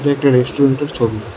একটা রেস্টুরেন্টের ছবি।